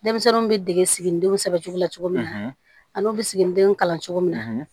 Denmisɛnninw bɛ dege siginidenw sɛbɛncugula cogo min ani u bɛ siginidenw kalan cogo min na